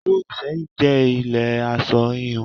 Ìlú Ìsẹ́yìn jẹ́ ilé aṣọ híhun.